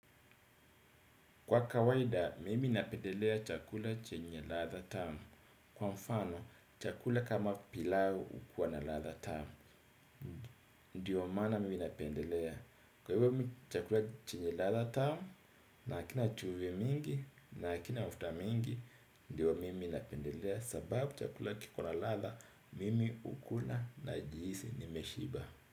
Kwa kawaida, mimi napendelea chakula chenye ladha tamu. Kwa mfano, chakula kama pilau ukua na ladha tamu, ndiyo maana mimi napendelea. Kwa hivyo mimi chakula chenye ladha tamu, naakina chumvi mingi, nakina mafuta mingi, ndiyo mimi napendelea. Sababu chakula kiko na ladha, mimi ukula na jihisi ni meshiba.